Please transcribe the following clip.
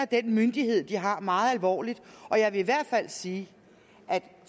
den myndighed de har meget alvorligt og jeg vil i hvert fald sige at